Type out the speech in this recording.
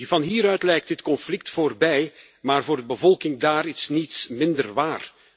Van hieruit lijkt dit conflict voorbij maar voor de bevolking daar is niets minder waar.